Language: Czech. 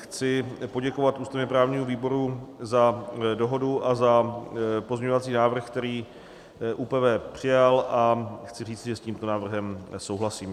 Chci poděkovat ústavně-právnímu výboru za dohodu a za pozměňovací návrh, který ÚPV přijal, a chci říci, že s tímto návrhem souhlasím.